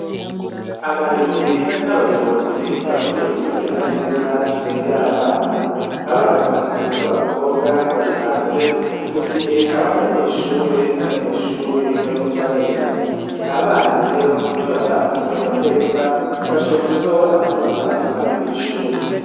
Abarezi nabayobozi barakwiye gukurikirana neza indero yabana abana batatu babakobwa , bari hanze mugihe abandi banyeshure bari mwishure bariko bariga. Abana lero nibatakurikiranwa neza bashobora kuzobona amashure mabi mw'ishure.